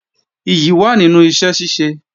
Ìyì wà nínú iṣẹ́ ṣíṣe